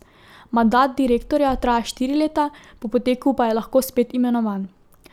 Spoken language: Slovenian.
Mandat direktorja traja štiri leta, po poteku pa je lahko spet imenovan.